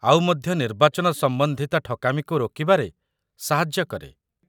ଆଉ ମଧ୍ୟ ନିର୍ବାଚନ ସମ୍ବନ୍ଧିତ ଠକାମୀକୁ ରୋକିବାରେ ସାହାଯ୍ୟ କରେ